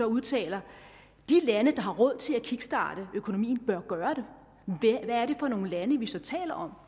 udtaler de lande der har råd til at kickstarte økonomien bør gøre det hvad er det for nogle lande vi så taler om